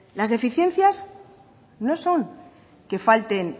las deficiencias no son que falten